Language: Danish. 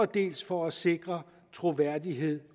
dels for at sikre troværdighed